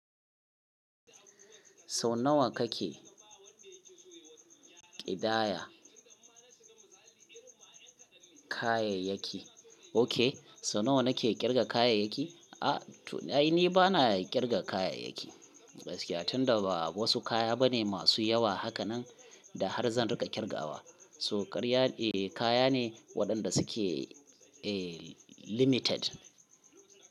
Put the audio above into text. Sau nawa kake ƙidaya kayayyaki? Ok, sau nawa na ke ƙirga kayayyaki? A, to ai ni ba na ƙirga kayayyaki. Tunda ba wasu kaya ba ne masu yawa haka nan da har zan riƙa ƙirgawa. So karya, eh kaya ne waɗanda suke, eh limited.